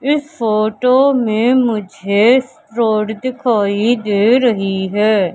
इस फोटो में मुझे रोड दिखाई दे रही है।